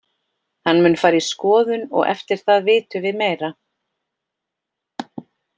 Hann mun fara í skoðun og eftir það vitum við meira.